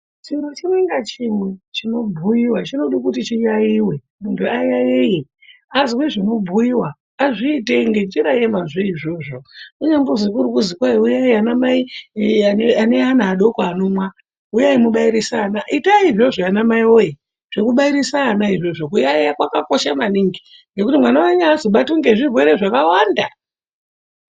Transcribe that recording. Chiro chimwae ngachimwe chinobhuyiwa chinoda kuti chiyaiyiwe. Muntu ayaiye azwe zvinobhuyiwa, azviite ngenjira yemazvo iyoyo. Kunyambozwi kuri kuzi kwai uyai anamai aneana adoko anomwa, uyai mubairise ana. Itai izvozvo anamai woye, zvekubairise ana izvozvo. Kuyaiya kwakakosha maningi ngekuti mwana wenyu haazobatwi ngezvirwere zvakawanda.